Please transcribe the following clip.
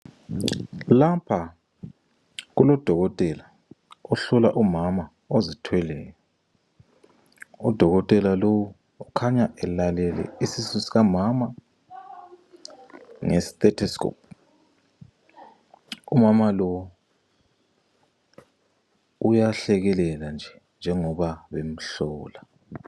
Lapha kulodokotela ohlola umama ozithweleyo. Udokotela lowu ukhanya elalele isisu sikamama nge- sthetiscop. Umama lo uyahlekelela nje njengoba bemhlola.